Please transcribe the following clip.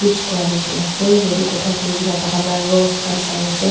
each kora nisna ase yate kotha kuri ke na tah khan lah rose khan sai ase.